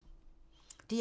DR1